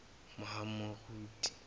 mohahamoriti